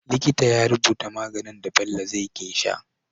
Likita ya rubuta maganin da Bello zai ke sha